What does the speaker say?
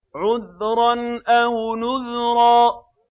عُذْرًا أَوْ نُذْرًا